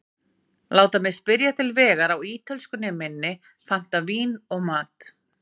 Láta mig spyrja til vegar á ítölskunni minni, panta vín og mat.